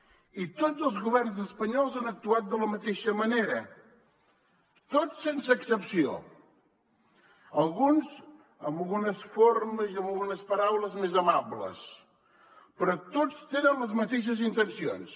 i tots els governs espanyols han actuat de la mateixa manera tots sense excepció alguns amb algunes formes i amb algunes paraules més amables però tots tenen les mateixes intencions